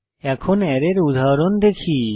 এখন অ্যারের উদাহরণ দেখি